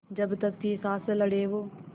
जब तक थी साँस लड़े वो